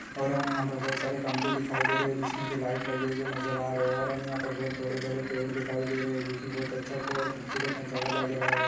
और हमे यहाँ पर बहुत सारे खंबे दिखाई दे रहे है जिसमे की लाइट लगे हुए नजर आ रहे है और हमे यहाँ पर बहुत बड़े बड़े पेड़ दिखाई दे रहे है जो की बहुत अच्छा और खूबसूरत नजारा लग रहा है।